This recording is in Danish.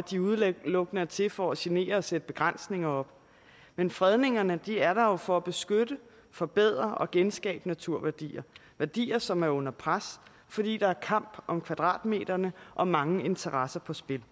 de udelukkende er til at for genere og sætte begrænsninger op men fredningerne er der jo for at beskytte forbedre og genskabe naturværdier værdier som er under pres fordi der er kamp om kvadratmeterne og mange interesser på spil